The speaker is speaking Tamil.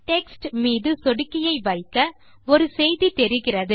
டெக்ஸ்ட் மீது சொடுக்கியை வைக்க ஒரு செய்தி தெரிகிறது